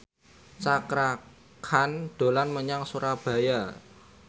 Cakra Khan dolan menyang Surabaya